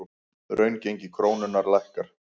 Raungengi krónunnar lækkar